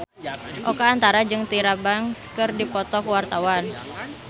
Oka Antara jeung Tyra Banks keur dipoto ku wartawan